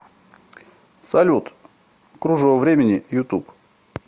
салют кружево времени ютуб